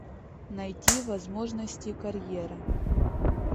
найти возможности карьеры